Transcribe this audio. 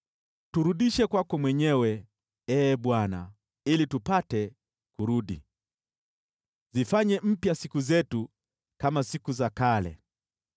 Turudishe kwako mwenyewe, Ee Bwana , ili tupate kurudi. Zifanye mpya siku zetu kama siku za kale,